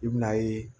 I bɛn'a ye